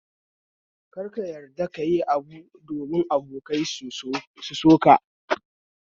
Kar ka yarda kayi abu don abokai su soka